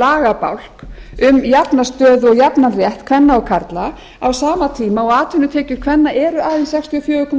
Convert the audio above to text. lagabálk um jafna stöðu og jafnan rétt kvenna og karla á sama tíma og atvinnutekjur kvenna eru aðeins sextíu og fjögur og